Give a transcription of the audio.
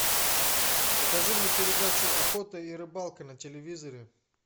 покажи мне передачу охота и рыбалка на телевизоре